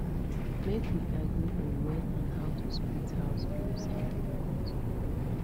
make we agree on when and how to split house bills every month